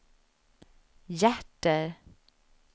hjärter